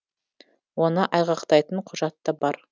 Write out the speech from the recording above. оны айғақтайтын құжат та бар